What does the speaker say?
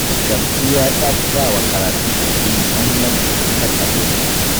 Shamsiyya ta fi ba wa karatun addini muhimmanci a kan na boko